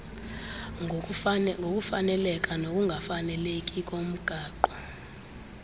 ngokufaneleka nokungafaneleki ngokomgaqo